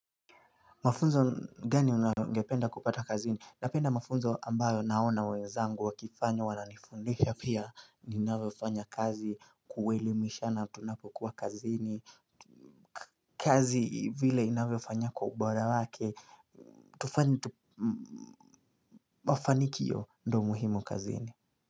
Mafunzo gani ungependa kupata kazini napenda mafunzo ambayo naona wenzangu wakifanya wananifundisha pia ninavyo fanya kazi kuelimishana tunapokuwa kazini kazi vile inavyo fanya kwa ubora wake tufanye tu mafanikio ndo muhimu kazini.